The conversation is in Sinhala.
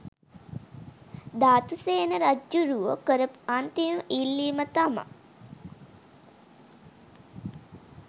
ධාතුසේන රජ්ජුරුවෝ කරපු අන්තිම ඉල්ලීම තමා